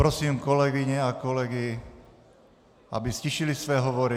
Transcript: Prosím kolegyně a kolegy, aby ztišili své hovory.